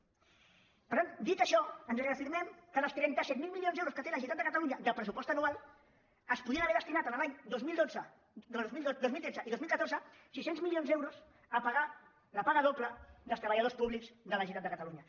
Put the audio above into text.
per tant dit això ens reafirmem que dels trenta set mil mili·ons d’euros que té la generalitat de catalunya de pres·supost anual es podrien haver destinat els anys dos mil dotze dos mil tretze i dos mil catorze sis cents milions d’euros a pagar la paga do·ble dels treballadors públics de la generalitat de ca·talunya